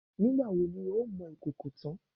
Nígbà wo ni o ó mọ ìkòkò tán?